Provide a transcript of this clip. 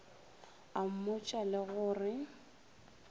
a mmotša le go re